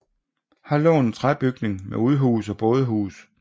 Her lå en træbygning med udhus og bådehus